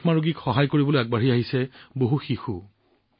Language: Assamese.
যক্ষ্মা ৰোগীক সহায় কৰিবলৈ আগবাঢ়ি আহিছে বহু শিশু